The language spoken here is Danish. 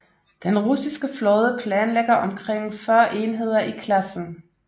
Den russiske flåde planlægger omkring 40 enheder i klassen